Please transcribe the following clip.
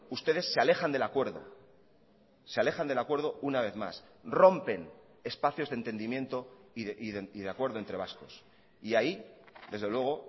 ustedes se alejan del acuerdo se alejan del acuerdo una vez más rompen espacios de entendimiento y de acuerdo entre vascos y ahí desde luego